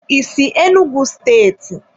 I si Enugwu steeti?